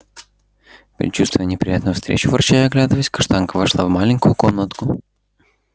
предчувствуя неприятную встречу ворча и оглядываясь каштанка вошла в маленькую комнатку